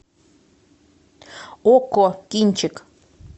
окко кинчик